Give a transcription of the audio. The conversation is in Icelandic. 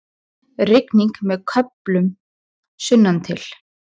Rigning með köflum sunnantil